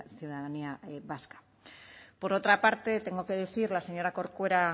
ciudadanía vasca por otra parte tengo que decir a la señora corcuera a